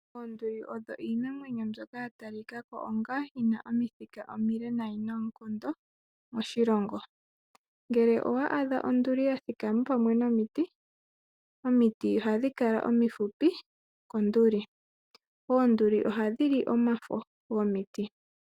Oonduli odho iinamwenyo mbyoka yatalikako iile noonkondo moshilongo , ngele owaadha onduli yathikama pamwe nomiti omiti ohadhikala omifupi konduli oonduli ohadhili omafo gomiti.